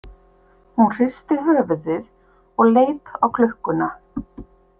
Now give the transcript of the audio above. Hún hristi höfuðið og leit á klukkuna.